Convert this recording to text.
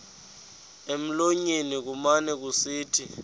emlonyeni kumane kusithi